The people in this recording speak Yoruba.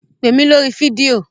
Pè mí lórí fídíò?